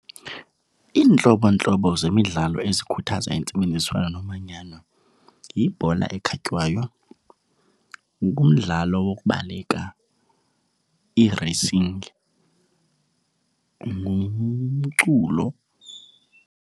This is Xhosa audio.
Iintlobontlobo zemidlalo ezikhuthaza intsebenziswano nomanyano yibhola ekhatywayo, ngumdlalo wokubaleka ireyisingi, ngumculo.